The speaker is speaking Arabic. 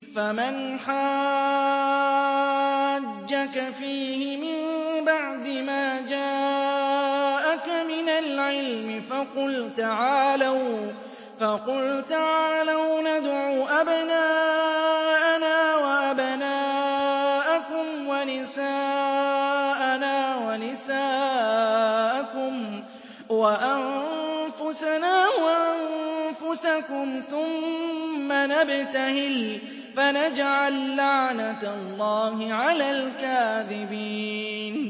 فَمَنْ حَاجَّكَ فِيهِ مِن بَعْدِ مَا جَاءَكَ مِنَ الْعِلْمِ فَقُلْ تَعَالَوْا نَدْعُ أَبْنَاءَنَا وَأَبْنَاءَكُمْ وَنِسَاءَنَا وَنِسَاءَكُمْ وَأَنفُسَنَا وَأَنفُسَكُمْ ثُمَّ نَبْتَهِلْ فَنَجْعَل لَّعْنَتَ اللَّهِ عَلَى الْكَاذِبِينَ